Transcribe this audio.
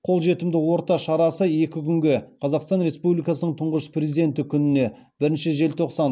қолжетімді орта шарасы екі күнге қазақстан республикасының тұңғыш президенті күніне